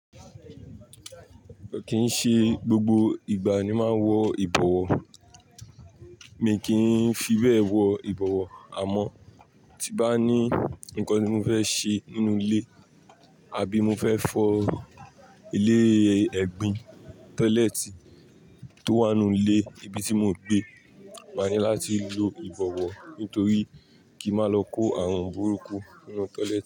Kì í ṣe gbogbo ìgbà ni máa ń wọ ìbọ̀wọ̀. Mi kì í fi bẹ wọ ìbọ̀wọ̀ àmọ́ tí bá ní nǹkan tí mo fẹ́ ṣe nínú ilé àbí mo fẹ́ fọ ilé ẹ̀gbin, (tọ́lẹ́ẹ́tì) tó wà nínú ilé ibi tí mo gbé, màá ní láti lo ìbọ̀wọ̀ nítorí kí màá lọ kó àrunbúrú nínú tọ́lẹ́ẹ́tì.